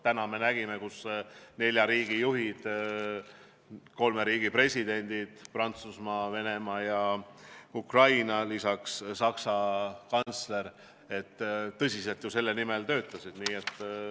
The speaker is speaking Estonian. Nüüd me nägime, et nelja riigi juhid, kolme riigi, Prantsusmaa, Venemaa ja Ukraina president, lisaks Saksa kantsler tõsiselt ju selle tulemuse nimel töötasid.